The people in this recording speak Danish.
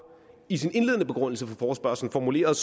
i sin indledende begrundelse for forespørgslen formulerede